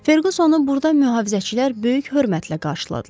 Ferqüsonu burda mühafizəçilər böyük hörmətlə qarşıladılar.